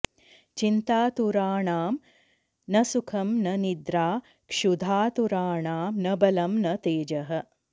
चिन्तातुराणां न सुखं न निद्रा क्षुधातुराणां न बलं न तेजः